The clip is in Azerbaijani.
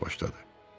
Qoca sözə başladı: